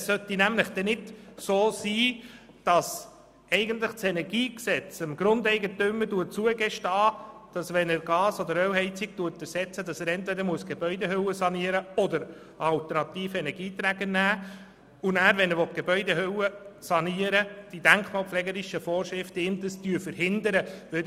Denn es sollte nicht passieren, dass das KEnG dem Grundeigentümer zugesteht, entweder die Gebäudehülle zu sanieren oder einen alternativen Energieträger zu wählen, wenn er eine Gas- oder Ölheizung ersetzt, während es die denkmalpflegerischen Vorschriften verhindern, wenn er die Gebäudehülle sanieren will.